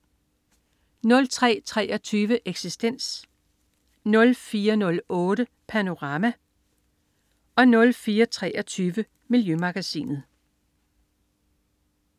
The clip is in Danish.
03.23 Eksistens* 04.08 Panorama* 04.23 Miljømagasinet*